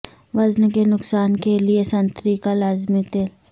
وزن کے نقصان کے لئے سنتری کا لازمی تیل